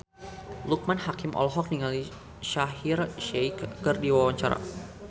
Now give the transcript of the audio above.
Loekman Hakim olohok ningali Shaheer Sheikh keur diwawancara